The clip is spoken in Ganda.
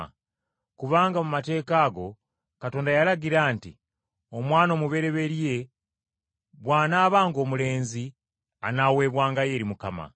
Kubanga mu mateeka ago, Katonda yalagira nti, “Omwana omubereberye bw’anaabanga omulenzi, anaaweebwangayo eri Mukama.”